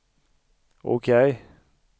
OK